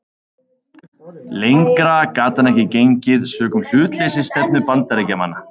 Lengra gat hann ekki gengið sökum hlutleysisstefnu Bandaríkjamanna.